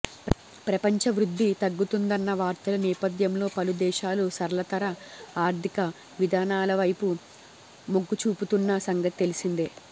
ప్రపంచ వృద్ధి తగ్గుతుందన్న వార్తల నేపథ్యంలో పలు దేశాలు సరళతర ఆరి్థక విధానాలవైపు మొగ్గుచూపుతున్న సంగతి తెలిసిందే